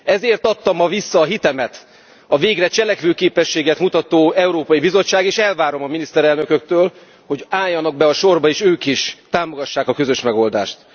Ezért adta ma vissza a hitemet a végre cselekvőképességet mutató Európai Bizottság, és elvárom a miniszterelnököktől, hogy álljanak be a sorba és ők is támogassák a közös megoldást.